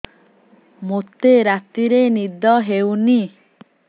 ମୋତେ ରାତିରେ ନିଦ ହେଉନି